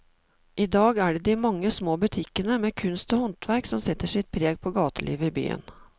I dag er det de mange små butikkene med kunst og håndverk som setter sitt preg på gatelivet i byen.